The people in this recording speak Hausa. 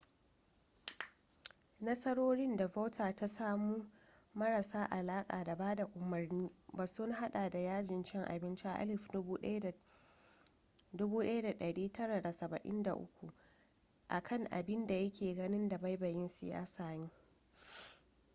nasarorin da vautier ta samu marasa alaka da bada umarni ba sun hada da yajin cin abinci a 1973 a kan abin da ya ke ganin dabaibayin siyasa ne